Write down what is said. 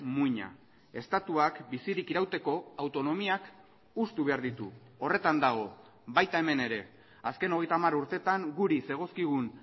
muina estatuak bizirik irauteko autonomiak hustu behar ditu horretan dago baita hemen ere azken hogeita hamar urtetan guri zegozkigun